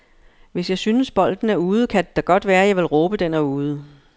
Hvis jeg synes, bolden er ude, kan det da godt være, jeg vil råbe den er ude.